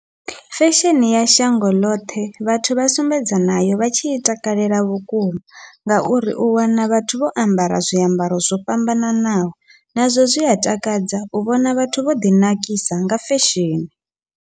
Fesheni ya shango ḽoṱhe vhathu vha sumbedza nayo vha tshi i takalela vhukuma, ngauri u wana vhathu vho ambara zwiambaro zwo fhambananaho nazwo zwi a takadza u vhona vhathu vho ḓi nakisa nga fesheni.